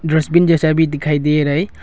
Dustbin जैसा भी दिखाई दे रहा है।